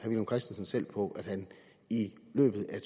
villum christensen selv på at han i løbet af